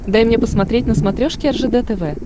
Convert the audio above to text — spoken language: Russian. дай мне посмотреть на смотрешке ржд тв